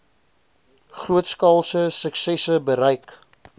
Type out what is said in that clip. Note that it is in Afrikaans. grootskaalse suksesse bereik